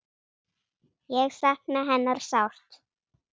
Ég sakna hennar sárt.